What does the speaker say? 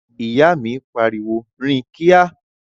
Ìyá mi pariwo "rìn kíá!"